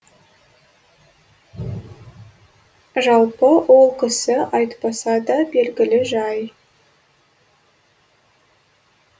жалпы ол кісі айтпаса да белгілі жай